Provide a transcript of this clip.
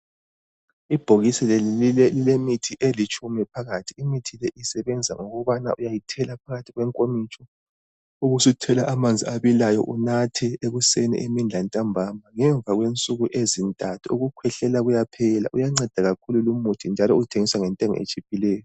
Ibhokisi leli lilemithi elitshumi phakathi. Imithi le isebenza ukubana uyayithela phakathi kwenkomitsho ubusuthela amanzi abilayo unathe ekuseni, emini lantambama. Ngemva kwensuku ezintathu ukukhwehlela kuyaphela. Uyanceda kakhulu lumuthi njalo uthengiswa ngentengo etshiphileyo.